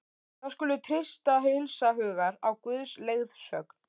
Þá skulum við treysta heilshugar á Guðs leiðsögn.